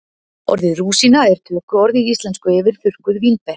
Orðið rúsína er tökuorð í íslensku yfir þurrkuð vínber.